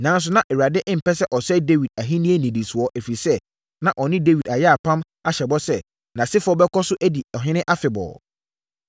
Nanso, na Awurade mpɛ sɛ ɔsɛe Dawid ahennie nnidisoɔ, ɛfiri sɛ, na ɔne Dawid ayɛ apam ahyɛ bɔ sɛ, nʼasefoɔ bɛkɔ so adi ɔhene afebɔɔ.